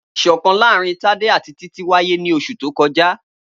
Iṣọkan laarin Tade ati Titi waye ni oṣu to kọja.